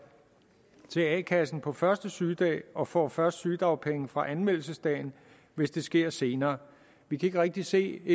til a kassen på første sygedag og får først sygedagpenge fra anmeldelsesdagen hvis det sker senere vi kan ikke rigtig se